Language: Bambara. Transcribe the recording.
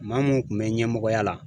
Maa mun kun bɛ ɲɛmɔgɔya la.